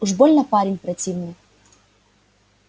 уж больно парень противный